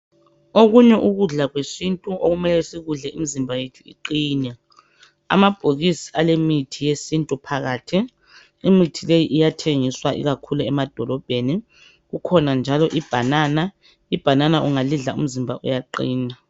Okunye ukudla kwesintu okumele sikudle imizimba yethu iqine, amabhokisi alemithi yesintu phakathi imithi leyi iyathengiswa ikakhulu emadolobheni kukhona njalo ibanana, ibanana ungalidla umzimba uyaqina.